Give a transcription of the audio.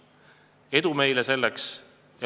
Edu meile selleks!